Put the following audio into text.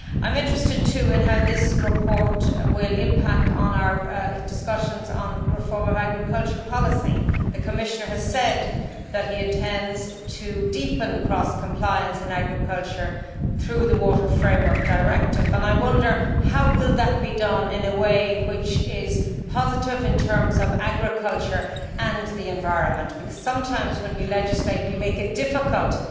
I am interested too in how this report will impact on our discussions on the reform of agricultural policy. The Commissioner has said that he intends to deepen cross compliance in agriculture through the Water Framework Directive, and I wonder how that will be done in a positive way in terms of agriculture and the environment, because sometimes when we legislate we create difficulties